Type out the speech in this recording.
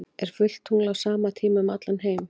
er fullt tungl á sama tíma um allan heim